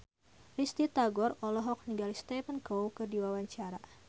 Risty Tagor olohok ningali Stephen Chow keur diwawancara